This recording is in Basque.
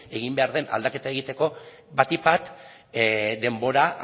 egin behar den aldaketa egiteko batik bat denbora